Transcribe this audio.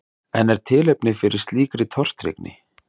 En er tilefni fyrir slíkri tortryggni?